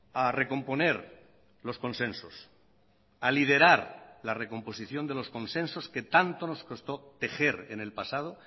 a recomponer los consensos a liderar la recomposición de los consensos que tanto nos costó tejer en el pasado